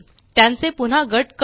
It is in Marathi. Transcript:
त्यांचे पुन्हा गट करू